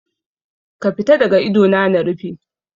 Ka fita daga idona na rufe.